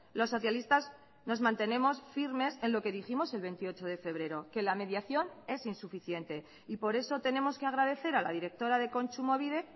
los socialistas nos mantenemos firmes en lo que dijimos el veintiocho de febrero que la mediación es insuficiente y por eso tenemos que agradecer a la directora de kontsumobide